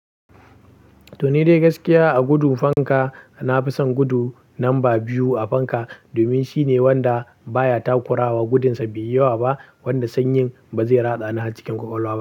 To, ni dai gaskiya a gudun fanka, na fi son gudu lamba biyu a fanka domin shine wanda baya takurawa gudunsa biyuwa ba wanda sanyin ba zai ratsa ni a cikin kwakwalwa ba.